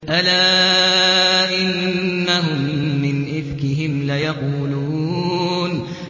أَلَا إِنَّهُم مِّنْ إِفْكِهِمْ لَيَقُولُونَ